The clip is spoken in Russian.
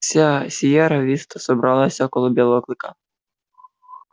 вся сиерра виста собралась около белого клыка